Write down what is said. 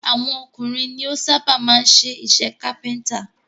Àwọn ọkùnrin ni ó sábà máa ń ṣe iṣẹ́ kápẹ́ntà